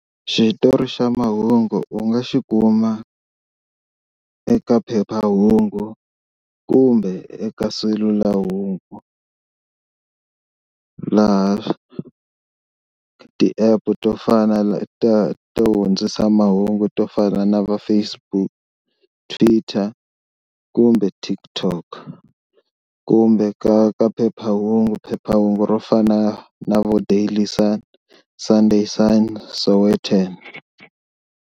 Xitori xa mahungu u nga xi kuma eka phephahungu kumbe eka selulahungu laha ti-app to fana to hundzisa mahungu to fana na va Facebook, Twitter kumbe TikTok kumbe ka ka phephahungu, phephahungu ro fana na vo Daily Sun, Sunday Sun, Sowetan.